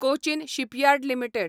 Cochin shipyard limited